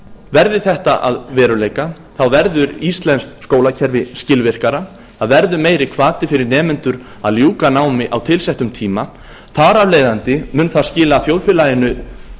verði þetta að veruleika verður íslenskt skólakerfi skilvirkara það verður meiri hvati fyrir nemendur að ljúka námi á tilsettum tíma þar af leiðandi mun það skila þjóðfélaginu